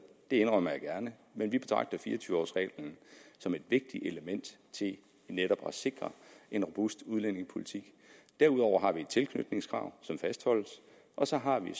det indrømmer jeg gerne men vi betragter fire og tyve års reglen som et vigtigt element til netop at sikre en robust udlændingepolitik derudover har vi et tilknytningskrav som fastholdes og så har vi